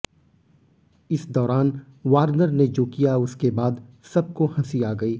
इस दौरान वार्नर ने जो किया उसके बाद सबको हंसी आ गई